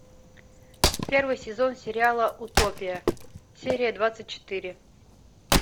первый сезон сериала утопия серия двадцать четыре